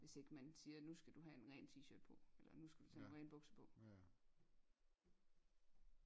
Hvis ikke man siger nu skal du have en ren t-shirt på eller nu skal du tage nogle rene bukser på